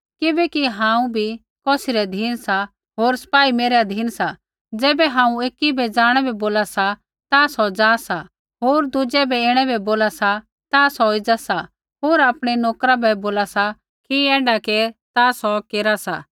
किबैकि हांऊँ भी कौसी रै अधीन सा होर सपाई मेरै अधीन सी ज़ैबै हांऊँ एकी बै ज़ाणै बै बोला सा ता सौ ज़ा सा होर दुज़ै बै ऐणै बै बोला सा ता सौ एज़ा सा होर आपणै नोकरा बै बोला सा कि ऐण्ढा केर ता सौ केरा सा